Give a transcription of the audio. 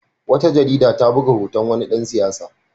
Wata jarida ta buga hoton wani dan siyasa.